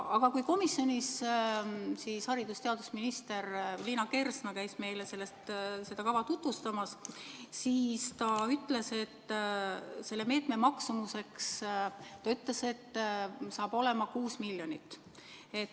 Aga kui haridus- ja teadusminister Liina Kersna käis komisjonis meile seda kava tutvustamas, siis ta ütles, et selle meetme maksumuseks saab olema 6 miljonit eurot.